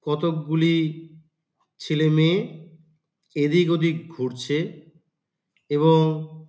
কতকগুলি ছেলে মেয়ে এদিক ওদিক ঘুরছে এবং --